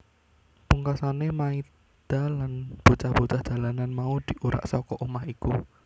Pungkasané Maida lan bocah bocah jalanan mau diurak saka omah iku